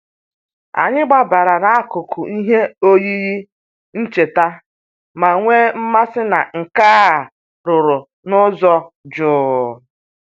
Anyị gbabara n'akụkụ ihe oyiyi ncheta ma nwee mmasị na nka a rụrụ n'ụzọ jụụ.